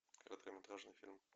короткометражный фильм